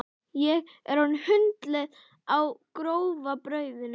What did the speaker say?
Ég er orðin hundleið á grófa brauðinu!